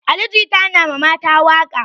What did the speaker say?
Ali jita na mata waƙa